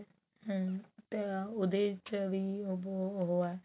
ਹਮ ਤੇ ਉਹਦੇ ਚ ਵੀ ਉਹ ਬਹੁਤ ਉਹ ਹੈ